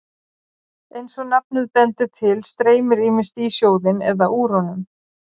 eins og nafnið bendir til streymir ýmist í sjóðinn eða úr honum